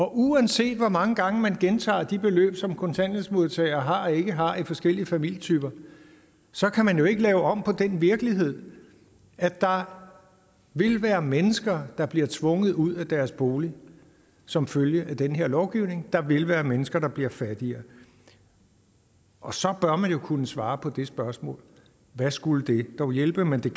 uanset hvor mange gange man gentager de beløb som kontanthjælpsmodtagere har og ikke har i forskellige familietyper så kan man jo ikke lave om på den virkelighed at der vil være mennesker der bliver tvunget ud af deres bolig som følge af den her lovgivning der vil være mennesker der bliver fattigere og så bør man jo kunne svare på det spørgsmål hvad skulle det dog hjælpe men det